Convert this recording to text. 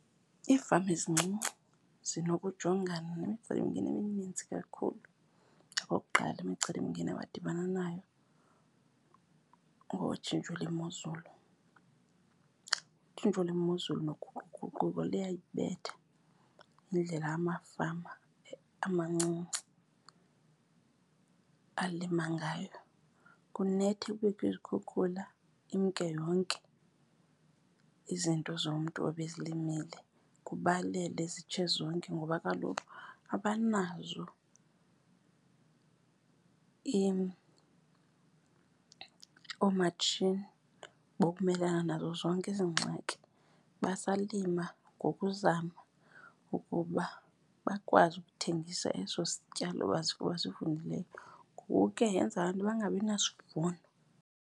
Iifama ezincinci zinokujongana nemicelimngeni eminintsi kakhulu. Okokuqala imicelimngeni abadibana nayo kungotshintsho lwemozulu. Utshintsho lwemozulu noguquguquko luyayibeatha indlela amafama amancinci alima ngayo. Kunethe kubekho izikhukhula imke yonke izinto zomntu ebezilimile, kubalele zitshe zonke. Ngoba kaloku abanazo oomatshini bokumelana nazo zonke ezi ngxaki basalima ngokuzama ukuba bakwazi ukuthengisa eso sityalo basivunileyo. Ngoku ke yenza laa nto bangabinasivuno.